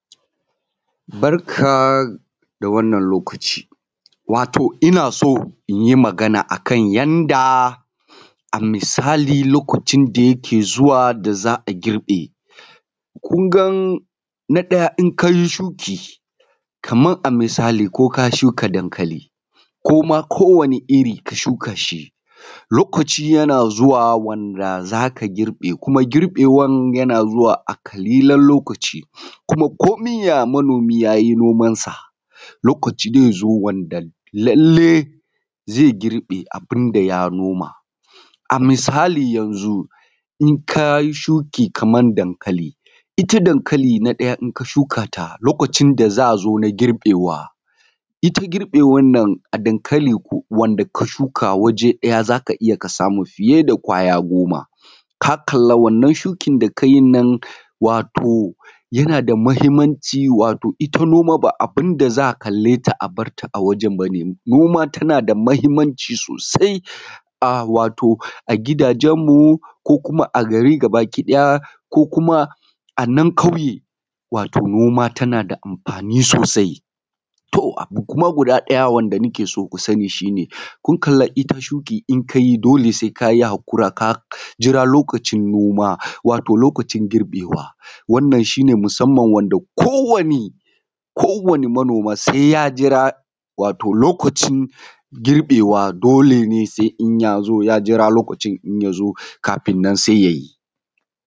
Barka da wannan lokacin wato ina so in yi magana a kan yanda a misali da yake zuwa da za a girbe. Kun ga na ɗaya in ka yi shuki, kaman a misali ko ka shuka dankali, kuma ko wani iri ka shuka shi, lokaci yana zuwa wanda za ka girbe, kuma girbewan yana zuwa a ƙalilan lokaci, kuma komi ya manomi ya yi noman sa, lokaci zai zo wanda lallai zai girbe abun da ya noma. A misali yanzu in ka yi shuki kamar dankali, ita dankali na ɗaya in ka shuka ta lokacin da za a zo na girbewa. Ita girbewan nan a dankali wanda ka shuka waje ya za ka iya ka samu fiye da ƙwaya goma. Ka kalla wannan shukin da ka yin nan wato yanad a muhimmanci wato ita noma ba abun da za a kale ta a bar ta a wajen ba ne. noma tana da muhimmanci sosai a wato a gidajen mu ko kuma a gari gabaki ɗaya ko kuma a nan ƙauye. Wato noma tana da amfani sosai. To abu kuma guda ɗaya wanda nake so ku sani shi ne kun kalla ita shuki in ka yi dole sai ka yi haƙura ka jira lokacin noma, wato lokacin girbewa. Wannan shi ne musamman ko wani ko wani manoma sai ya jira wato lokacin girbewa, dole ne sai in ya zo ya jira lokacin kafin nan sai ya yi.